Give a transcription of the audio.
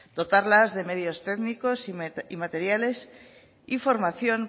dotarlas de medios técnicos y materiales y formación